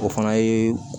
O fana ye